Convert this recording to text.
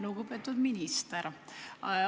Lugupeetud minister!